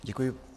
Děkuji.